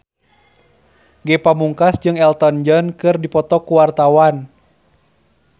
Ge Pamungkas jeung Elton John keur dipoto ku wartawan